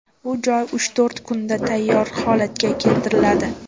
Bu joy uch-to‘rt kunda tayyor holatga keltiriladi.